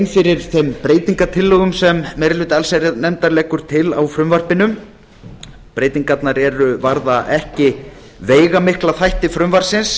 fyrir þeim breytingartillögum sem meiri hluti allsherjarnefndar leggur til á frumvarpinu breytingarnar varða ekki veigamikla þætti frumvarpsins